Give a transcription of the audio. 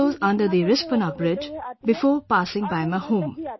The river flows under the Rispana Bridge before passing by my home